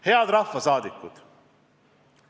Head rahvasaadikud!